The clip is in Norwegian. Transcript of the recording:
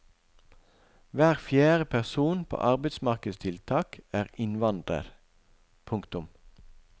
Hver fjerde person på arbeidsmarkedstiltak er innvandrer. punktum